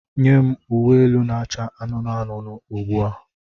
Nye m uwe elu na-acha anụnụ anụnụ ugbu a!